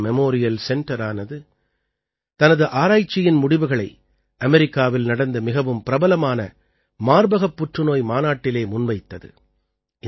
Tata memorial சென்டரானது தனது ஆராய்ச்சியின் முடிவுகளை அமெரிக்காவில் நடந்த மிகவும் பிரபலமான மார்பகப் புற்றுநோய் மாநாட்டிலே முன்வைத்தது